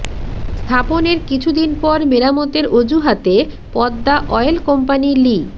স্থাপনের কিছু দিন পর মেরামতের অজুহাতে পদ্মা অয়েল কোম্পানি লি